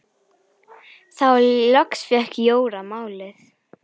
Þá loks fékk Jóra málið.